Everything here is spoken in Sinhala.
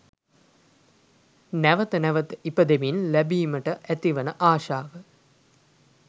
නැවැත නැවැත ඉපදෙමින් ලැබීමට ඇතිවන ආශාව